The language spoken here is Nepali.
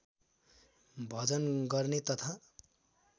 भजन गर्ने तथा